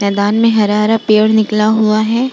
मैदान में हरा-हरा सा पेड़ निकला हुआ है।